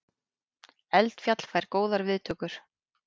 Eldfjall fær góðar viðtökur